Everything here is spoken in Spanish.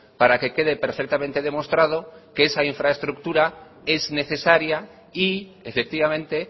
para que quede perfectamente demostrado que esa infraestructura es necesaria y efectivamente